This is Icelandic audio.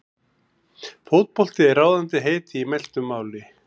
Fótbolti er ráðandi heiti í mæltu máli.